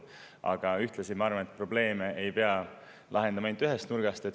Aga ühtlasi ma arvan, et probleeme ei pea lahendama ainult ühest nurgast.